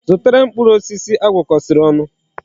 Zụtara m mkpụrụ osisi agwọkosiri onu